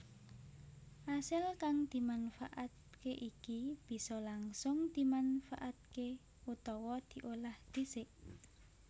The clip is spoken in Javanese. Asil kang dimanfaatke iki bisa langsung dimanfaatké utawa diolah dhisik